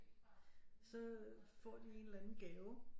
Så får de en eller anden gave